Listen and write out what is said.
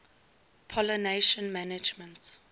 pollination management